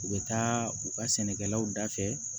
U bɛ taa u ka sɛnɛkɛlaw da fɛ